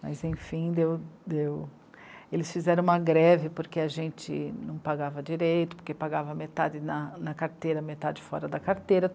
Mas, enfim, deu, deu... eles fizeram uma greve porque a gente não pagava direito, porque pagava metade na... na carteira, metade fora da carteira